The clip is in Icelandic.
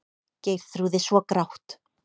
Geirþrúði svo grátt.